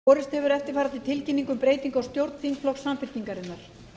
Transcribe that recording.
borist hefur eftirfarandi tilkynning um breytingu á stjórn samfylkingarinnar